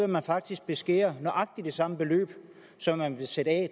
man faktisk beskære nøjagtig det samme beløb som man vil sætte af